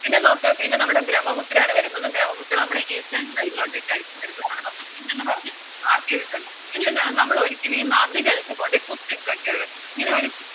പിന്നെ നോക്ക് പിന്നെ നമ്മടെ ബ്രഹ്മപുത്രയാണ് വരുന്നത് ബ്രഹ്മപുത്ര നമ്മുടെ Eastern side ലോട്ടക്കാരിക്കും വരുന്നത് അവിടെ നമ്മള് C എന്ന് പറഞ്ഞ് Mark ചെയ്തിട്ടുണ്ട് ഇനിയെന്താണ് നമ്മളൊരിക്കലീ നദികൾക്ക് കൊണ്ടോയ് കുത്തിട്ട് വെക്കരുത് ഈയൊരു